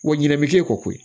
Wa ɲinɛ bi k'e kɔ koyi